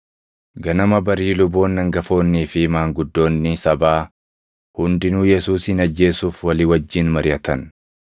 Ganama barii luboonni hangafoonnii fi maanguddoonni sabaa hundinuu Yesuusin ajjeesuuf walii wajjin mariʼatan.